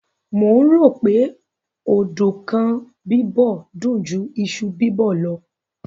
Mò ń rò ó pé ọ̀dùnkún bíbọ̀ dùn ju iṣu bíbọ̀ lọ